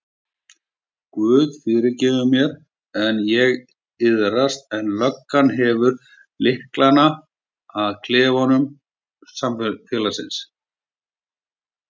Guð fyrirgefur mér, ég iðrast en löggan hefur lyklana að klefum samfélagsins.